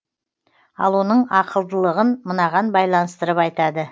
ал оның ақылдылығын мынаған байланыстырып айтады